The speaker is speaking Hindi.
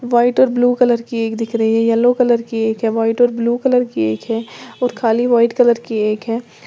व्हाइट और ब्लू कलर की एक दिख रही है येलो कलर की एक है व्हाइट और ब्लू कलर की है और खाली व्हाइट कलर की एक है।